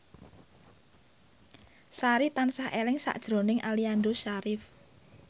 Sari tansah eling sakjroning Aliando Syarif